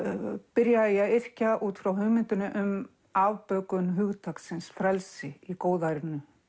byrjaði ég að yrkja út frá hugmyndinni um afbökun hugtaksins frelsi í góðærinu